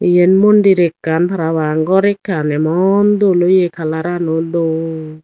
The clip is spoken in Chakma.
eyen mondir ekkan parapang gor ekan emon dol oye colorano dol.